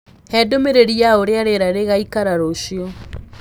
hee ndumĩriri ya ũrĩa rĩera rĩgaĩkara ruciu